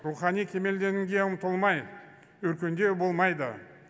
рухани кемелденуге ұмтылмай өркендеу болмайды